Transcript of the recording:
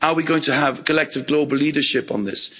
Are we going to have collective global leadership on this?